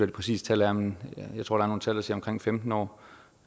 det præcise tal er men jeg tror der er nogle tal der siger omkring femten år